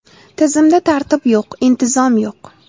Tizimda tartib yo‘q, intizom yo‘q”.